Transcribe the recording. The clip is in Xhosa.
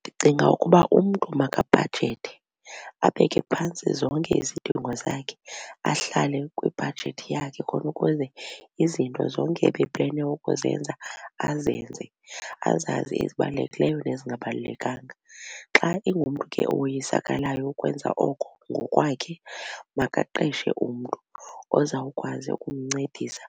Ndicinga ukuba umntu makabhajethe abeke phantsi zonke izidingo zakhe ahlale kwibhajethi yakhe khona ukuze izinto zonke ebeplene ukuzenza azenze azazi ezibalulekileyo nezingabalulekanga. Xa ingumntu ke owoyisakalayo ukwenza oko ngokwakhe makaqeshe umntu ozawukwazi ukumncedisa